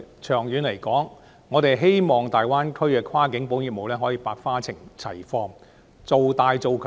長遠而言，我希望大灣區的跨境保險業務可以百花齊放、做大做強。